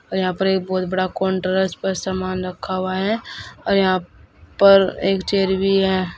और यहां पर एक बहोत बड़ा काउंटर है इस पर सामान रखा हुआ है और यहां पर एक चेयर भी है।